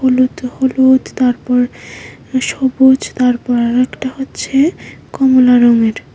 হলুদ হলুদ তারপর সবুজ তারপর আরেকটা হচ্ছে কমলা রঙের।